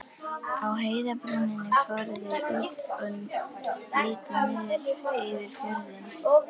Á heiðarbrúninni fóru þau út og litu niður yfir fjörðinn.